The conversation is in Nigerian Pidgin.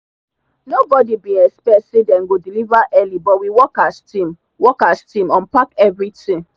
no body bin expect say them go deliver early but we work as team work as team unpack everything.